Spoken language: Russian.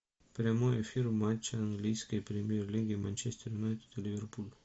прямой эфир матча английской премьер лиги манчестер юнайтед и ливерпуль